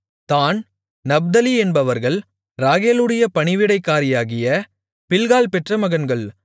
தாண் Naphtali என்பவர்கள் ராகேலுடைய பணிவிடைக்காரியாகிய பில்காள் பெற்ற மகன்கள்